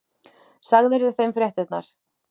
Sagðirðu þeim fréttirnar?